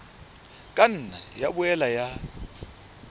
ka nna ya boela ya